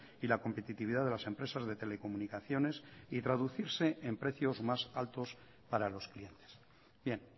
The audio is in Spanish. y la competitividad de las empresas de telecomunicaciones y traducirse en precios más altos para los clientes bien